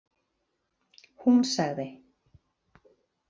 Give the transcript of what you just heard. Hún sagði: